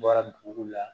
Bɔra dugu la